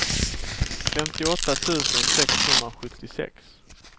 femtioåtta tusen sexhundrasjuttiosex